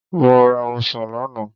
Mo ra ọsàn lánàá.